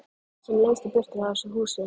Sem lengst í burtu frá þessu húsi.